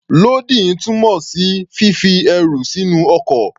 Lódìn túmọ̀ sí fífi ẹrù sínú ọkọ̀.